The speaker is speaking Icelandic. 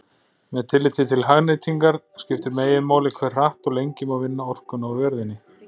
Með tilliti til hagnýtingar skiptir meginmáli hve hratt og lengi má vinna orkuna úr jörðinni.